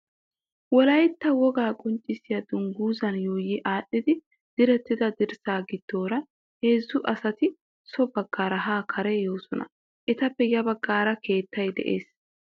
Wolaytta wogaa qonccissiya dungguzan yuuyi aadhdhidi direttida dirssaa giddoora heezzu asati so baggaara haa kare yoosona. Etappe ya baggaara keettay de'ees.